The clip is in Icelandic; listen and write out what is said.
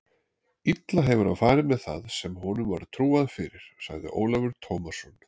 Illa hefur hann farið með það sem honum var trúað fyrir, sagði Ólafur Tómasson.